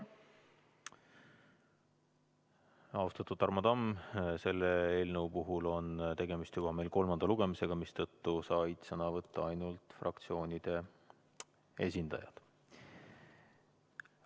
Austatud Tarmo Tamm, tegemist on juba selle eelnõu kolmanda lugemisega, mistõttu said sõna võtta ainult fraktsioonide esindajad.